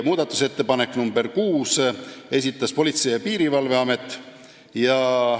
Muudatusettepaneku nr 6 esitas Politsei- ja Piirivalveamet.